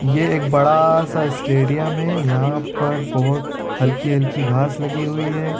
ये एक बड़ा सा स्टेडियम है यहाँ पर बोहोत हल्की-हल्की घास लगी हुई है।